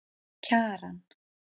Kjaran